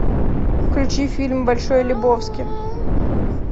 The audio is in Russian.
включи фильм большой лебовски